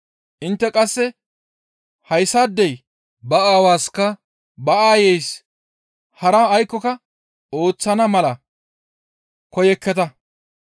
intte qasse hayssaadey ba aawaska ba aayeysi hara aykkoka ooththana mala koyekketa.